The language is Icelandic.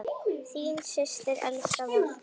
Þín systir, Elsa Valdís.